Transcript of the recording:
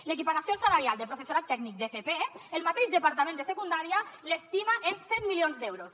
l’equiparació salarial del professorat tècnic d’fp el mateix departament de secundària l’estima en set milions d’euros